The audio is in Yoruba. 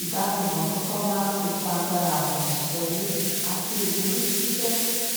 ìdánimọ tó tọ máa n fi kún agbára àwọn òṣìṣẹ ilé àti ìwúrí ṣíṣe